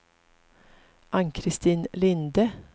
Ann-Christin Linde